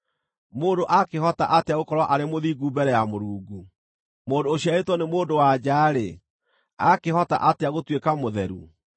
Mũndũ aakĩhota atĩa gũkorwo arĩ mũthingu mbere ya Mũrungu? Mũndũ ũciarĩtwo nĩ mũndũ-wa-nja-rĩ, akĩhota atĩa gũtuĩka mũtheru?